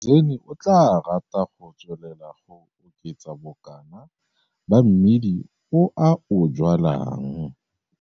Mgezeni o tlaa rata go tswelela go oketsa bokana ba mmidi o a o jwalang.